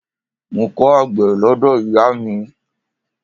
Mo kọ́ àgbẹ̀ lọ́dọ̀ ìyáà mi.